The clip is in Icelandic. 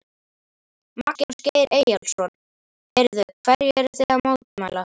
Magnús Geir Eyjólfsson: Heyrðu, hverju eru þið að mótmæla?